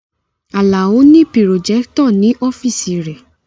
Alao ni pirojectọ ni ọfiisi re